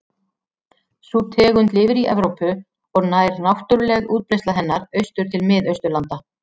Sú tegund lifir í Evrópu og nær náttúruleg útbreiðsla hennar austur til Mið-Austurlanda.